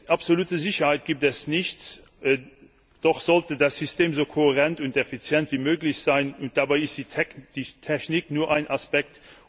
Absolute Sicherheit gibt es nicht, doch sollte das System so kohärent und effizient wie möglich sein, und dabei ist die Technik nur ein Aspekt.